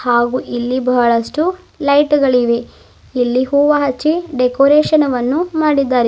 ಹಾಗು ಇಲ್ಲಿ ಬಹಳಷ್ಟು ಲೈಟು ಗಳಿವೆ ಇಲ್ಲಿ ಹೂವ ಹಚ್ಚಿ ಡೆಕೋರೇಷನ್ ವನ್ನು ಮಾಡಿದ್ದಾರೆ.